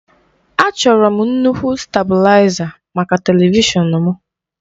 Achọrọ m nnukwu stabụlaiza maka televishọn m.